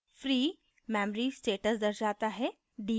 free memory status दर्शाता है